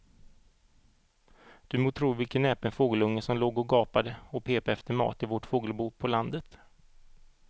Du må tro vilken näpen fågelunge som låg och gapade och pep efter mat i vårt fågelbo på landet.